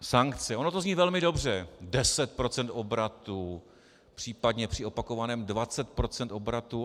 Ono to zní velmi dobře, 10 % obratu, případně při opakovaném 20 % obratu.